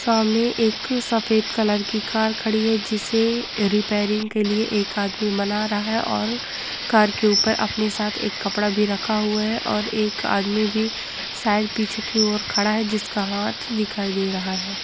सामने एक सफ़ेद कलर की कार खड़ी है जिसे रिपेरिंग के लिए एक आदमी मना रहा है और कार के ऊपर अपने साथ एक कपड़ा भी रखा हुआ है और एक आदमी भी शायद पीछे की और खड़ा है जिसका हाँथ दिखाई दे रहा है।